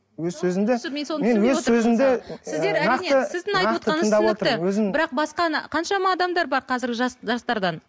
өз сөзімді бірақ басқаны қаншама адамдар бар қазіргі жастардан